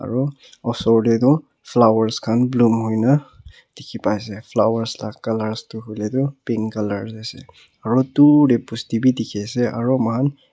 etu osor te tu flower khan bloom hoike na dekhi pai ase flower laga colour pink tu colour ase aru dur te bosti bhi dekhi ase aru man --